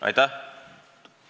Aitäh!